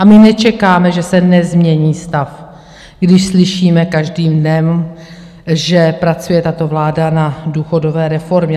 A my nečekáme, že se nezmění stav, když slyšíme každým dnem, že pracuje tato vláda na důchodové reformě.